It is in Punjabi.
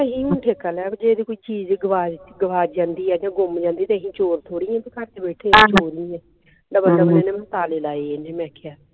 ਇਹਨੇ ਠੇਕਾ ਲਿਆ ਵੀ ਜੇ ਕੋਈ ਚੀਜ ਗਵਾ ਗਵਾਚ ਜਾਂਦੀ ਆ ਤੇ ਗੁੱਮ ਜਾਂਦੀ ਆ ਤੇ ਅਸੀਂ ਚੋਰ ਥੋੜੀ ਆ ਵੀ ਘੱਰ ਨੂੰ ਵੀ ਤਾਲੇ ਲਾਏ ਇਹਨੇ ਮੈਂ ਕਿਹਾ